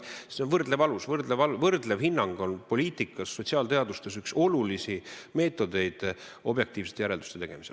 Võrdlev alus, võrdlev hinnang on poliitikas ja sotsiaalteadustes üks olulisi meetodeid objektiivsete järelduste tegemisel.